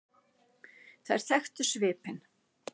Þær þekktu svipinn.